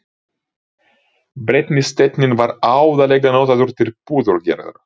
Brennisteinninn var aðallega notaður til púðurgerðar.